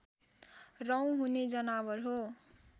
रौँ हुने जनावर हो